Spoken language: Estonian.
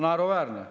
Naeruväärne.